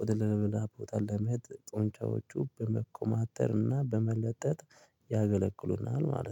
ወደ ሌላ ቦታ ለመሄድ ጡንጫዎቹ በመኮማተር እና በመለጠጥ ያገለግሉናል ማለት ነው